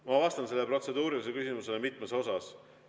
Ma vastan sellele protseduurilisele küsimusele mitmes osas.